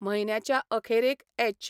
म्हयन्याच्या अखेरेक ऍच.